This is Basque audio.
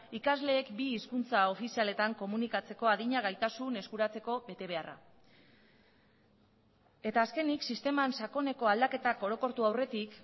ikasleek bi hizkuntza ofizialetan komunikatzeko adina gaitasun eskuratzeko betebeharra eta azkenik sisteman sakoneko aldaketak orokortu aurretik